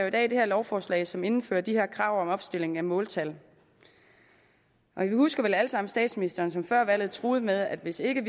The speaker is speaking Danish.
i dag det her lovforslag som indfører de her krav om opstilling af måltal vi husker vel alle sammen statsministeren som før valget truede med at hvis ikke